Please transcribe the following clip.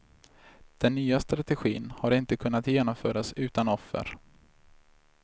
Den nya strategin har inte kunnat genomföras utan offer.